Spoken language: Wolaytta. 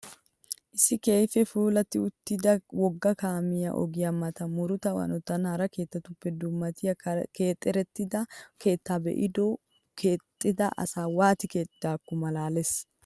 Issi keehippe puulatti uttuda wogga kaamiya ogiya matan murutta hanotan hara keettatuppe dummatiya keexertida keettaa be'iyoode keexxida asay waati keexxidaakko malaalisses..